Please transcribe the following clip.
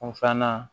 Kun filanan